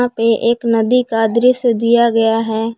ये एक नदी का दृश्य दिया गया है।